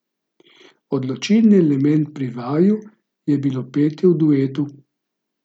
Odločilni element pri vaju je bilo petje v duetu.